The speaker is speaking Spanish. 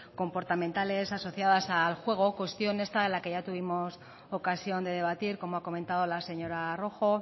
comportamentales asociadas al juego cuestión esta de la que ya tuvimos ocasión de debatir como ha comentado la señora rojo